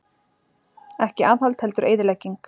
Ekki aðhald heldur eyðilegging